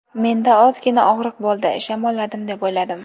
Menda ozgina og‘riq bo‘ldi, shamolladim deb o‘yladim.